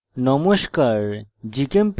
নমস্কার